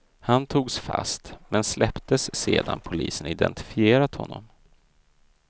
Han togs fast, men släpptes sedan polisen identifierat honom.